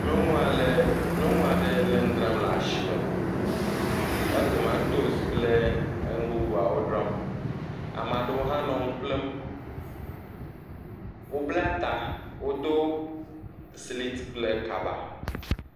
Nyɔnu aɖe le nu dzram le asime. Ele tomatosi kple nu bubuwo dram. Ame aɖewo hã nɔ nu ƒlem. Wobla ta, wodo siliti kple kaba.